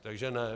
Takže ne.